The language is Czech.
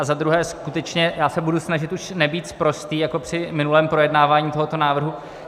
A za druhé, skutečně já se budu snažit už nebýt sprostý jako při minulém projednávání tohoto návrhu.